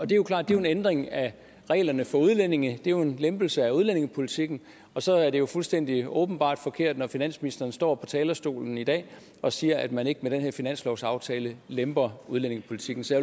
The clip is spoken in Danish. det er klart at det er en ændring af reglerne for udlændinge det er en lempelse af udlændingepolitikken og så er det jo fuldstændig åbenbart forkert når finansministeren står på talerstolen i dag og siger at man ikke med den her finanslovsaftale lemper udlændingepolitikken så